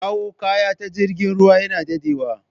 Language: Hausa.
Kawo kaya ta jirgin ruwa yana dadewa